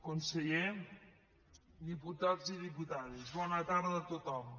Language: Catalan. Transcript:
conseller diputats i diputades bona tarda a tothom